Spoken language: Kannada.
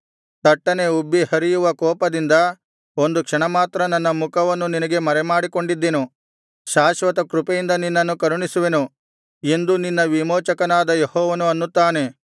ತಟ್ಟನೆ ಉಬ್ಬಿ ಹರಿಯುವ ಕೋಪದಿಂದ ಒಂದು ಕ್ಷಣ ಮಾತ್ರ ನನ್ನ ಮುಖವನ್ನು ನಿನಗೆ ಮರೆಮಾಡಿಕೊಂಡಿದ್ದೆನು ಶಾಶ್ವತ ಕೃಪೆಯಿಂದ ನಿನ್ನನ್ನು ಕರುಣಿಸುವೆನು ಎಂದು ನಿನ್ನ ವಿಮೋಚಕನಾದ ಯೆಹೋವನು ಅನ್ನುತ್ತಾನೆ